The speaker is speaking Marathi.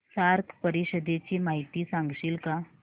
सार्क परिषदेची माहिती सांगशील का